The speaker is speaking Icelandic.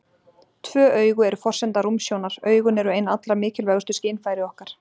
Tvö augu eru forsenda rúmsjónar Augun eru ein allra mikilvægustu skynfæri okkar.